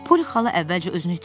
Poli xala əvvəlcə özünü itirdi.